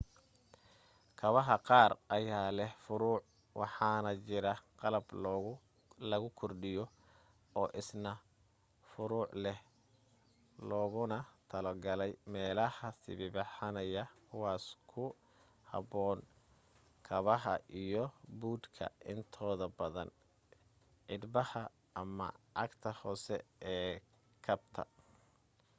kabaha qaar ayaa leh furuuruc waxaana jira qalab lagu kordhiyo oo isna furuuruc leh looguna talo galay meelaha sibiibixanaya kuwaaso ku habboon kabaha iyo buudhka intooda badan cidhbaha ama cagta hoose ee kabta